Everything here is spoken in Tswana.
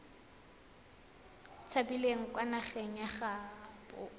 tshabileng kwa nageng ya gaabo